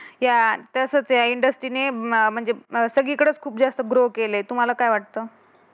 यात असते इंडस्ट्रीने म्हणजे सगळीकडेच खूप जास्त ग्रो केले तुम्हाला काय वाटतं?